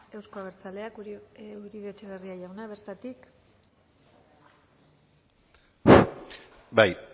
euzko abertzaleak uribe etxebarria jauna bertatik bai